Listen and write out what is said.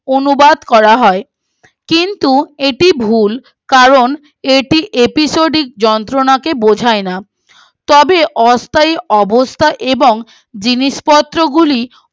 অনুবাদ করা হয় কিন্তু এটি ভুল কারণ এটি এপিসোডের যন্ত্রণাকে বোঝায় না তবে অস্থায়ী অবস্থা এবং জিনিসপত্র গুলি